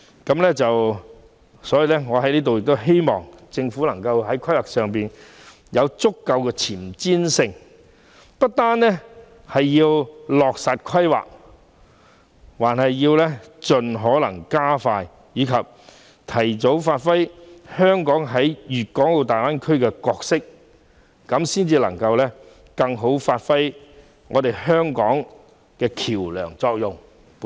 因此，我希望政府在規劃上能更具前瞻性，不單要落實規劃，更要加快步伐，讓香港早日履行其在大灣區的角色，以更有效地發揮香港作為橋樑的功能。